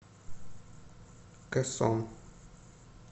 кэсон